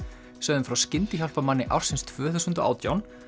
sögðum frá skyndihjálparmanni ársins tvö þúsund og átján